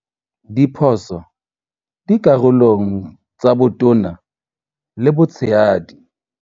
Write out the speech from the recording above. Diphoso dikarolong tsa botona le botshehadi